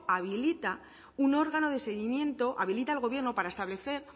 habilita un órgano de seguimiento habilita al gobierno para establecer